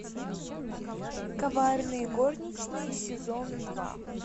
коварные горничные сезон два